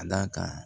Ka d'a kan